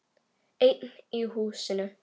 Einn í húsinu.